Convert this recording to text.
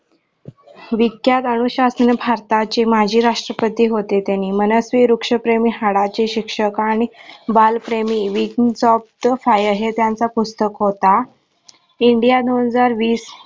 विख्यात अनुशासन भारताचे माजी राष्ट्रपती होते ते नि मनाचे वृक्ष प्रेमी, हाडाचे, शिक्षक आणि बालप्रेमी wigns of the fire हे त्यांचा पुस्तक होता india दोन हजार वीस